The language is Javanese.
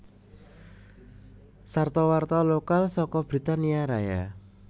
Sarta warta lokal saka Britania Raya